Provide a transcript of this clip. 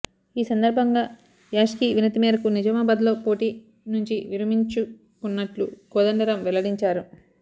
ఈ సందర్భంగా యాష్కీ వినతి మేరకు నిజామాబాద్ లో పోటీ నుంచి విరమించుకుంటున్నట్లు కోదండరామ్ వెల్లడించారు